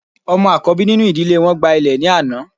Ọmọ akọbi ninu idile wọn gba ilẹ ni ana